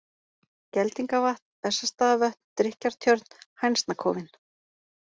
Geldingavatn, Bessastaðavötn, Drykkjartjörn, Hænsnakofinn